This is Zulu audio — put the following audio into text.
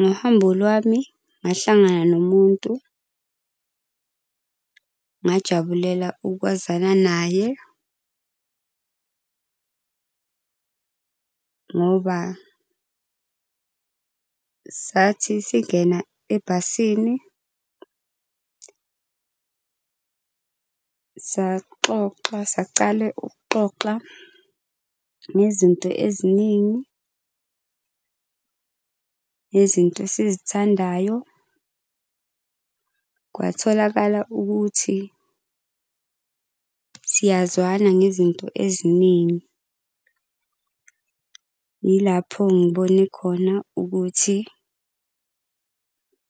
Ngohambo lwami ngahlangana nomuntu ngajabulela ukwazana naye ngoba sathi singena ebhasini saxoxa, sacale ukuxoxa ngezinto eziningi, ngezinto esizithandayo. Kwatholakala ukuthi siyazwana ngezinto eziningi. Yilapho ngibone khona ukuthi